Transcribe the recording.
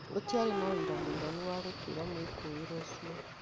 Gũtiarĩ na ũira mũiganu wa gũtuĩra mwĩkũĩrwo ũcio